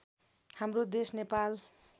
हाम्रो देश नेपाल